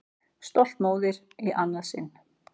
Stolt móðir í annað sinn.